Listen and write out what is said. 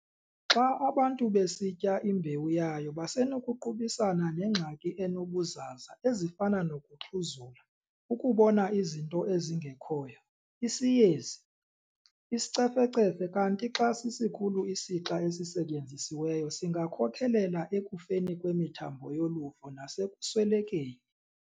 Xa abantu besitya imbewu yayo basenokuqubisana neengxaki ezinobuzaza ezifana nokuxhuzula, ukubona izinto ezingekhoyo, isiyezi, isicefecefe kanti xa sisikhulu isixa esisetyenzisiweyo singakhokelela ekufeni kwemithambo yoluvo nasekuswelekeni.